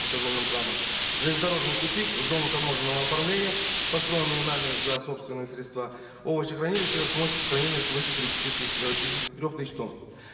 и козловым краном железнодорожный тупик зону таможенного оформления построенную нами за собственные средства овощехранилище с мощностью хранения свыше тридцати тысяч трех тысяч тонн